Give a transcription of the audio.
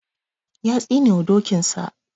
Ya tsinewa dokinsa.